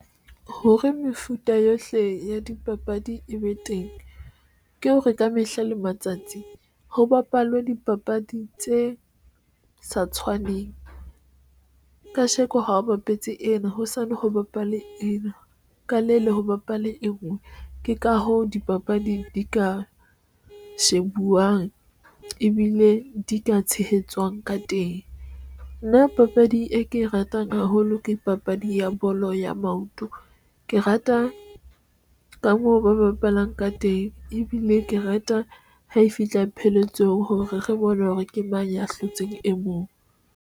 Hore mefuta yohle ya dipapadi e be teng, ke hore, ka mehla le matsatsi ho bapalwe dipapadi tse sa tshwaneng kasheko ha o bapetse ena hosane ho bapale ena ka le le ho bapale e ngwe. Ke ka hoo dipapadi di ka shebuwang ebile di ka tshehetsang ka teng. Nna papadi e ke e ratang haholo ke papadi ya bolo ya maoto. Ke rata ka moo ba bapalang ka teng, ebile ke rata ha e fihla pheletso hore re bone hore ke mang ya hlotseng e mong.